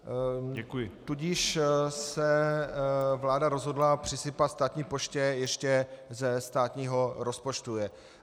Tudíž se vláda rozhodla přisypat státní poště ještě ze státního rozpočtu.